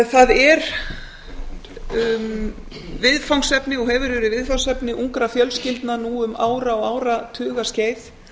það er viðfangsefni og hefur verið viðfangsefni ungra fjölskyldna nú um ára og áratugaskeið